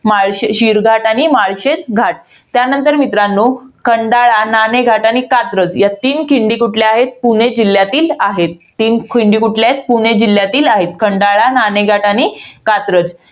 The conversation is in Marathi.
माळशे~ शिळघाट आणि माळशेजघाट. त्यानंतर मित्रांनो, खंडाळा, नाणेघाट आणि कात्रज या तीन खिंडी कुठल्या आहेत? पुणे जिल्ह्यातील आहेत. तीन खिंडी कुठल्या आहेत? पुणे जिल्ह्यातील आहेत. खंडाळा, नाणेघाट आणि कात्रज.